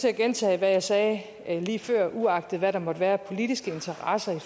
at gentage hvad jeg sagde lige før uagtet hvad der måtte være af politiske interesser i